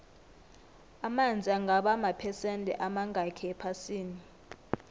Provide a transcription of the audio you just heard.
amanzi angaba maphesende amangakhi ephasini